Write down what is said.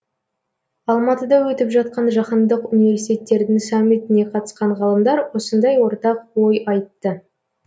алматыда өтіп жатқан жаһандық университеттердің саммитіне қатысқан ғалымдар осындай ортақ ой айтты